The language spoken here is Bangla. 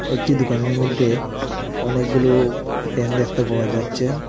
একটি দুকানের মইধ্যে অনেকগুলো ফ্যান দেখতে পাওয়া যাচ্চে ।